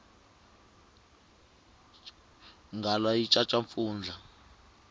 nghala yi caca mpfundla